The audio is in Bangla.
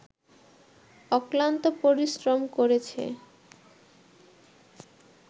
অক্লান্ত পরিশ্রম করেছে